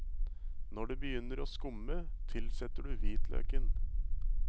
Når det begynner å skumme, tilsetter du hvitløken.